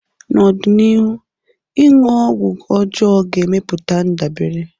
N'ọdịnihu, ịṅụ ọgwụ ọjọọ ga-emepụta ndabere.